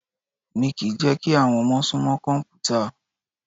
Mi kìí n jẹ́ kí àwọn ọmọ sún mọ́ kọ̀mpútà.